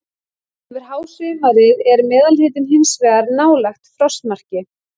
Yfir hásumarið er meðalhitinn hins vegar nálægt frostmarki.